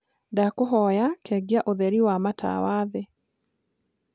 ndakũhoya kengia ũtherĩ wa wa matawa thii